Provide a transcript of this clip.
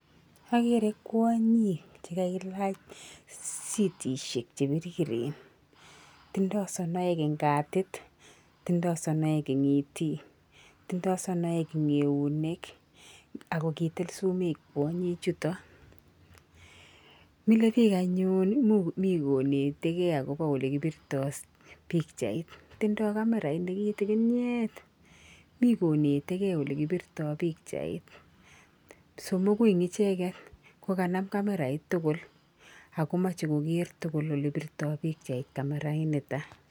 Okere kwonyik chekailach sitishek che biriren tindo sonoek en katit tindoi sonek en itick toindoi sonoek en eunek ak kitil sumek chutok mile bik anyun mii ko netegee ole koibirto pichait, tindoi kamerait nekitikinyet mii konete gee ole kipirto pichait, somoku en icheket ko kanam camerait tukul ako moche koker tukul ole pirto pichait kamerait niton